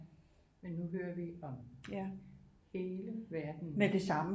Men nu hører vi om hele verden nu